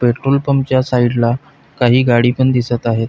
पेट्रोलपंपच्या side ला काही गाडी पण दिसत आहेत.